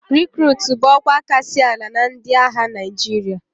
Rikruutu bụ ọkwa kasị ala na ndị agha Naịjirịa